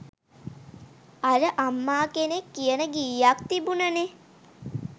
අර අම්මා කෙනෙක් කියන ගීයක් තිබුණනේ